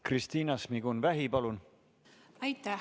Kristina Šmigun-Vähi, palun!